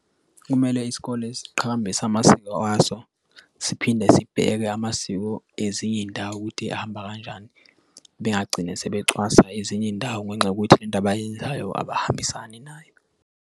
Kumele isikole siqhakambise amasiko aso siphinde sibheke amasiko ezinye iy'ndawo ukuthi ahamba kanjani, bengagcini sebecwasa ezinye iy'ndawo ngenxa yokuthi le nto abayenzayo abahambisana nayo.